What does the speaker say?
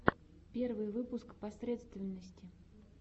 первый выпуск посредственности